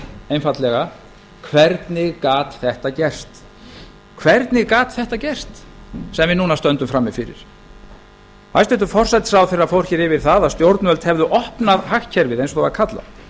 einfaldlega hvernig gat þetta gerst sem við núna stöndum frammi fyrir hæstvirtan forsætisráðherra fór hér yfir það að stjórnvöld hefðu opnað hagkerfið eins og það er kallað